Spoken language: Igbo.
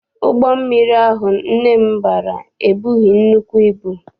Ụgbọ mmiri ahụ nne m bara ebughị nnukwu ibu.